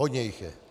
Hodně jich je.